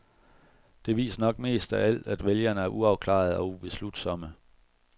Det viser nok mest af alt, at vælgerne er uafklarede og ubeslutsomme.